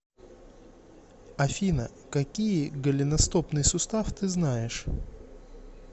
афина какие голеностопный сустав ты знаешь